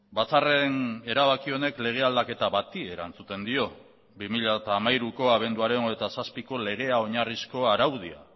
batzarren erabaki honek lege aldaketa bati erantzuten dio bi mila hamairuko abenduaren hogeita zazpiko legea oinarrizko araudia